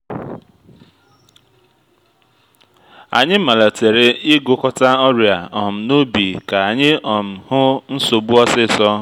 anyị malitere ịgụkọta ọrịa um n’ubi ka anyị um hụ nsogbu osisor